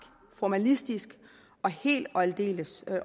formalistisk og helt og aldeles